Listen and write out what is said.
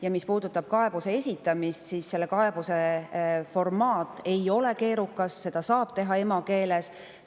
Ja mis puudutab kaebuse esitamist, siis selle formaat ei ole keerukas, seda saab teha emakeeles.